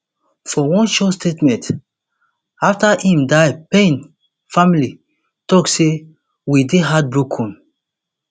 for one short statement afta im die payne family tok say we dey heartbroken